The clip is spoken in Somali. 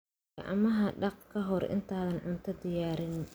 Gacmaha dhaq ka hor intaadan cunto diyaarin.